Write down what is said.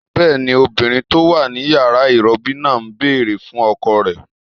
Bẹ́ẹ̀ni, obìnrin tó wà ní yàrá ìrọbí náà ń bèrè fún ọkọ rẹ̀